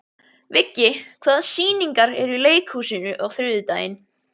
Viggi, hvaða sýningar eru í leikhúsinu á þriðjudaginn?